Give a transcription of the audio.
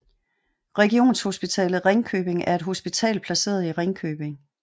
Regionshospitalet Ringkøbing er et hospital placeret i Ringkøbing